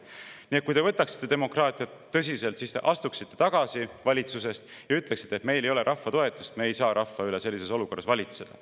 Nii et kui te võtaksite demokraatiat tõsiselt, siis te astuksite valitsusest tagasi ja ütleksite: "Meil ei ole rahva toetust, me ei saa rahva üle sellises olukorras valitseda.